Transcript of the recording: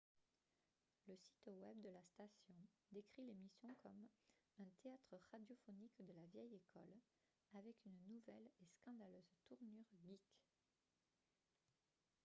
le site web de la station décrit l’émission comme un « théâtre radiophonique de la vieille école avec une nouvelle et scandaleuse tournure geek !»